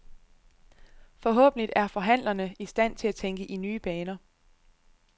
Forhåbentlig er forhandlerne i stand til at tænke i nye baner.